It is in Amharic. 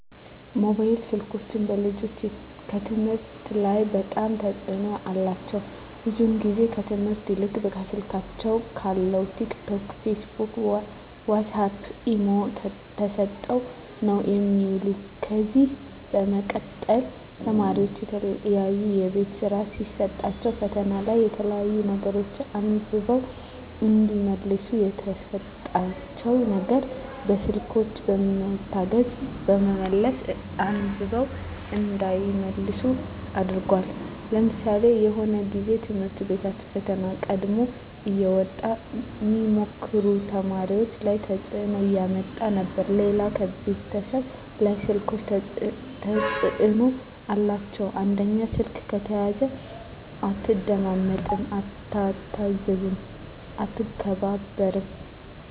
ሞባይል ስልኮች በልጆች ከትምህርት ላይ በጣም ተጽዕኖ አላቸው ብዙ ግዜ ከትምህርት ይልቅ ከስልካቸው ካለው ቲክ ቶክ ፊስቡክ ዋሳፕ ኢሞ ተሰጠው ነው የሚውሉ ከዚ በመቀጠል ተማሪዎች የተለያዩ የቤት ስራ ሲሰጣቸዉ ፈተና ላይ የተለያዩ ነገሮች አንብበው እዲመልሱ የተሰጣቸው ነገር በስልኮች በመታገዝ በመመለስ አንብበው እንዳይመልሱ አድርጓል ለምሳሌ የሆነ ግዜ በትምህርት ቤቶች ፈተና ቀድሞ እየወጣ ሚሞክሩ ተማሪዎች ላይ ተጽዕኖ እያመጣ ነበር ሌላው ከቤተሰብ ላይ ስልኮች ተጽዕኖ አላቸው አንደኛው ስልክ ከተያዘ አትደማመጥም አትታዘዝም አትከባበርም